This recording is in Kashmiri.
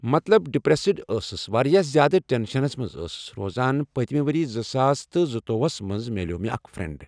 مطلب ڈِپرؠسٕڈ ٲسٕس واریاہ زیاد ٹؠنشَنَس منز ٲسٕس روزان پٔتمہِ ؤری زٕ ساس تٕہ زُ توٚ وُہَس منز مِلیو مےٚ اَکھ فریٚنٛڈ